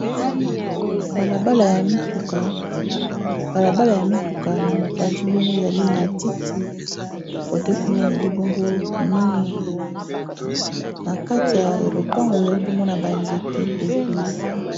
Bala bala ya mituka bala bala ya mituka n'a mopanzi ezali bongo matiti cote kuna ezali bongo mur n'a kati ya lopango ezali bongo ba nzete ebele